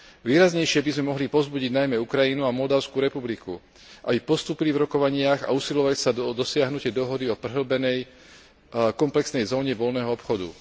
Výraznejšie by sme mohli povzbudiť najmä Ukrajinu a Moldavskú republiku, aby postúpili v rokovaniach a usilovali sa o dosiahnutie dohody o prehĺbenej komplexnej zóne voľného obchodu.